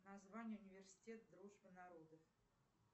название университет дружбы народов